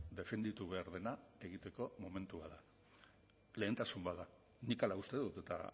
defenditu behar dena egiteko momentua da lehentasun bat da nik hala uste dut eta